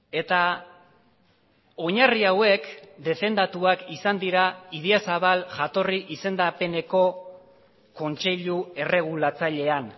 eta oinarri hauek defendatuak izan dira idiazabal jatorri izendapeneko kontseilu erregulatzailean